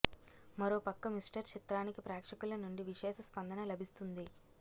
మరో పక్క మిస్టర్ చిత్రానికి ప్రేక్షకుల నుండి విశేష స్పందన లభిస్తుంది